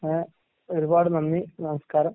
ഏഹ് ഒരുപാട് നന്ദി, നമസ്കാരം.